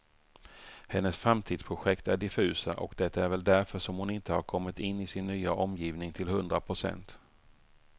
Hennes framtidsprojekt är diffusa, och det är väl därför som hon inte har kommit in i sin nya omgivning till hundra procent.